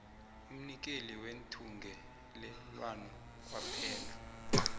umnikeli wethungelelwano kwaphela